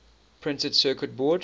printed circuit board